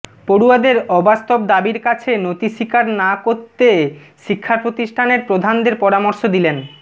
পড়ুয়াদের অবাস্তব দাবির কাছে নতিস্বীকার না করতে শিক্ষা প্রতিষ্ঠানের প্রধানদের পরামর্শ দিলেন